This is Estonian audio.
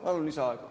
Palun lisaaega.